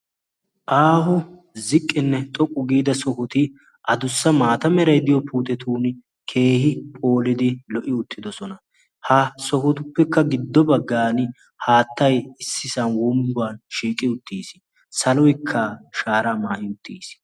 Aaho ziqqinne xoqqu giida sohoti adussa maatameray diyo puuxetun keehi phoolidi lo"i uttidosona. ha sohotuppekka giddo baggan haattai issisan wombban shiiqi uttiis saloikka shaara maa'i uttiis